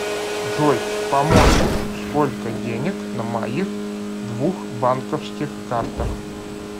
джой помощник сколько денег на моих двух банковских картах